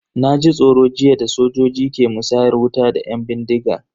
Na ji tsoro jiya da sojojin ke musayar wuta da yan bindigan.